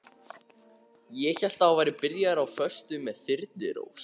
Ég hélt að þú værir byrjaður á föstu með Þyrnirós.